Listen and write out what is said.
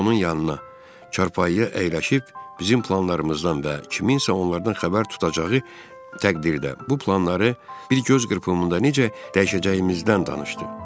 Tom onun yanına, çarpayıya əyləşib bizim planlarımızdan və kimsə onlardan xəbər tutacağı təqdirdə bu planları bir göz qırpımında necə dəyişəcəyimizdən danışdı.